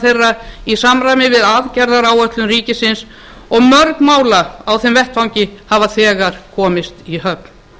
þeirra í samræmi við aðgerðaáætlun ríkisins og mörg mála á þeim vettvangi hafa þegar komist í höfn